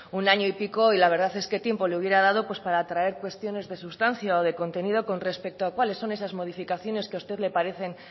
un año y pico y la verdad es que tiempo le hubiera dado para traer cuestiones de sustancia o de contenido con respecto a cuáles son esas modificaciones que a usted le parecen